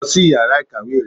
lọ si ìyára ikáwe rẹ!